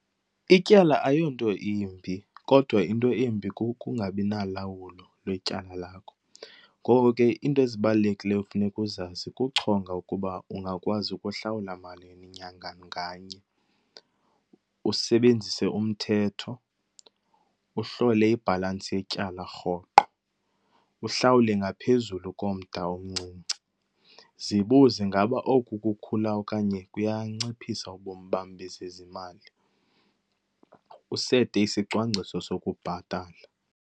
Ityala ayonto imbi kodwa into embi kukungabi nalawulo lwetyala lakho. Ngoko ke iinto ezibalulekileyo ekufuneka uzazi kuchonga ukuba ungakwazi ukuhlawula malini nyanga nganye, usebenzise umthetho, uhlole ibhalansi yetyala rhoqo, uhlawule ngaphezulu komda omncinci. Zibuze, ingaba oku kukhula okanye kuyanciphisa ubomi bam bezezimali? Usete isicwangciso sokubhatala.